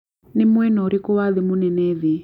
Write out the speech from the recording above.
nĩ mwena ũrikũ wa thĩ mũnene thĩ